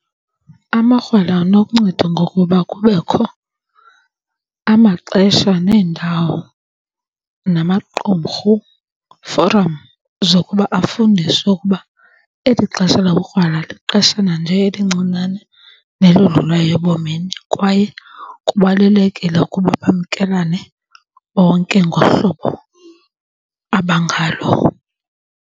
Amakrwala anokunceda ngokuba kubekho amaxesha neendawo, namaqumrhu, forum, zokuba afundiswe ukuba eli xesha lobukrwala lixeshana njee elincinane nelodlulayo ebomini. Kwaye kubalulekile ukuba bamkelane bonke ngohlobo abangalo.